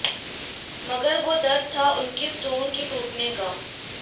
मगर वो दर्द था उनके स्टोन के टूटने का